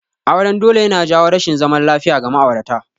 Auren dole yana jawo rashin zaman lafiya ga ma'aurata